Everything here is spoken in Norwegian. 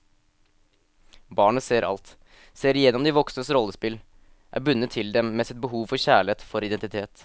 Barnet ser alt, ser igjennom de voksnes rollespill, er bundet til dem med sitt behov for kjærlighet, for identitet.